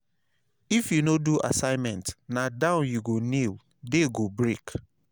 if you no do assignment na down you go kneel day go break.